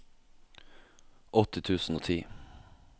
åtti tusen og ti